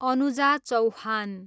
Anuja Chauhan